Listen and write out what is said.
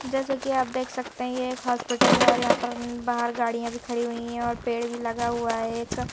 जैसे कि आप देख सकते हैं ये एक हॉस्पिटल है और यहां पर बाहर गाड़ियां भी खड़ी हुई है और पेड़ भी लगा हुआ है एक।